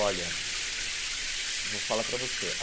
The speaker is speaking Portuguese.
Olha, vou falar pra você.